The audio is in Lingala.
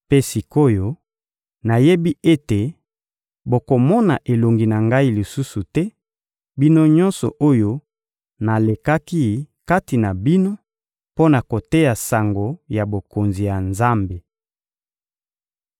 Mpe sik’oyo, nayebi ete bokomona elongi ngai lisusu te, bino nyonso oyo nalekaki kati na bino mpo na koteya sango ya Bokonzi ya Nzambe.